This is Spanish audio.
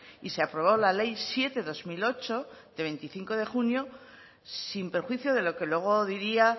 y se aprobó la ley siete barra dos mil ocho de veinticinco de junio sin perjuicio de lo que luego diría